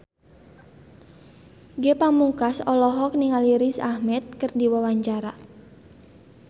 Ge Pamungkas olohok ningali Riz Ahmed keur diwawancara